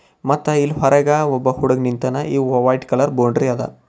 ಮತ್ತ ಇಲ್ ಹೊರಗ ಒಬ್ಬ ಹುಡ್ಗ್ ನಿಂತಾನ ಈ ವ- ವೈಟ್ ಕಲರ್ ಬೌಂಡರಿ ಅದ.